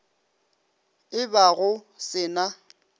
e ba go se na